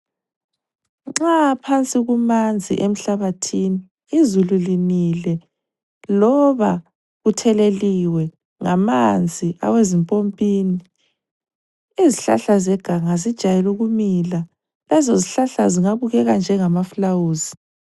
Nxa phansi kumanzi emhlabathini, izulu linile loba kutheleliwe ngamanzi awezimpompini izihlahla zeganga zijayele ukumila. Lezo zihlahla zingabukeka njengama fulawuzi.